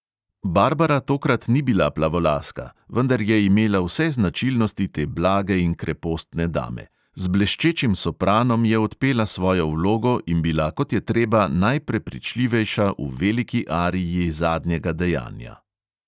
Barbara tokrat ni bila plavolaska, vendar je imela vse značilnosti te blage in krepostne dame; z bleščečim sopranom je odpela svojo vlogo in bila kot je treba najprepričljivejša v veliki ariji zadnjega dejanja.